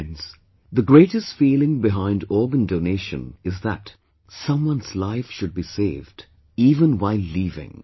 Friends, the greatest feeling behind organ donation is that someone's life should be saved even while leaving